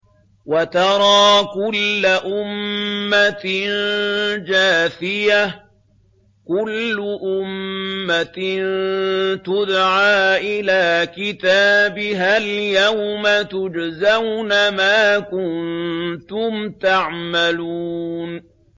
وَتَرَىٰ كُلَّ أُمَّةٍ جَاثِيَةً ۚ كُلُّ أُمَّةٍ تُدْعَىٰ إِلَىٰ كِتَابِهَا الْيَوْمَ تُجْزَوْنَ مَا كُنتُمْ تَعْمَلُونَ